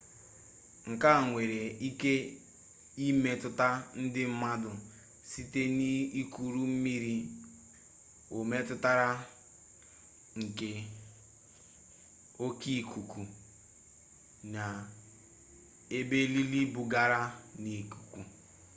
nke a nwere ike imetụta ndị mmadụ site n'ikuru mmiri o metụtara nke oke ikuku na ebili bugara n'ikuku